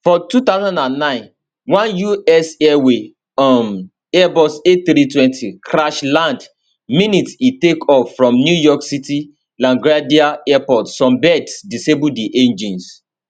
for 2009 one us airways um airbus a320 crash land minutes afta e take off from new york city laguardia airport some birds disable di engines